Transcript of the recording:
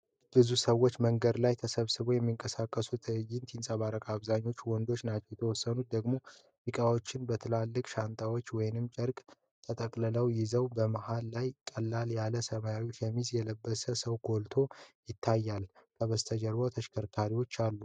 ብዙ ሰዎች መንገድ ላይ ተሰብስበው የሚንቀሳቀሱበት ትዕይንት ይንጸባረቃል። አብዛኞቹ ወንዶች ናቸው፤ የተወሰኑት ደግሞ ዕቃዎቻቸውን በትላልቅ ሻንጣዎች ወይም በጨርቅ ተጠቅልለው ይዘዋል። መሃል ላይ ቀለል ያለ ሰማያዊ ሸሚዝ የለበሰ ሰው ጎልቶ ይታያል። ከበስተጀርባ ተሽከርካሪዎች አሉ።